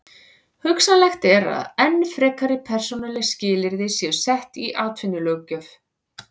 Hugsanlegt er að enn frekari persónuleg skilyrði séu sett í atvinnulöggjöf.